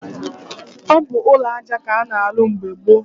Ọ bụ ụlọaja k'a na-arụ mgbe gboo.